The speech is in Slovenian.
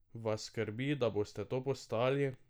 Vas skrbi, da boste to postali?